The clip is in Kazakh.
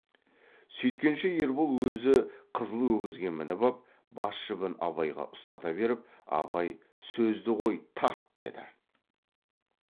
сүйткенше ербол өзі қызыл өгізге мініп ап бас жібін абайға ұстата беріп абай сөзді қой тарт деді